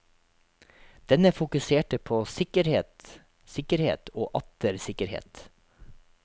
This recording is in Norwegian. Denne fokuserte på sikkerhet, sikkerhet og atter sikkerhet.